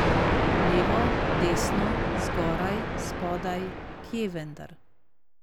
Levo, desno, zgoraj, spodaj, kje vendar?